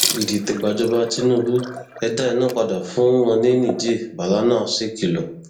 ìdìtẹgbájọ tínúbù ẹ dá iná padà fún wọn ní niger ballana sékìlọ